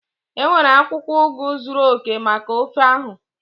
Enwere akwukwo ugu zuru oke maka ofe ahụ?